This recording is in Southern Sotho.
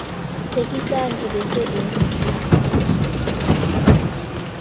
tsekisang be e se e